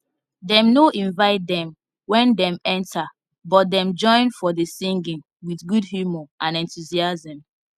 them no invite them when them enter but them join for the singing with good humor and enthusiasm